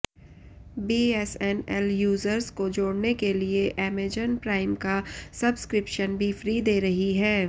BSNL users को जोड़ने के लिए एमेजन प्राइम का सब्सक्रिप्शन भी फ्री दे रही है